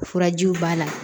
Furajiw b'a la